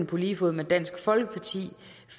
på lige fod med dansk folkeparti